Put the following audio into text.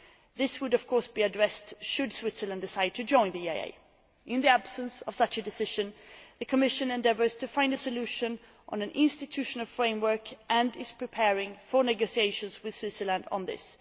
This would, of course, be addressed should Switzerland decide to join the EEA. In the absence of such a decision, the Commission is endeavouring to find a solution in an institutional framework and is preparing for negotiations with Switzerland on this.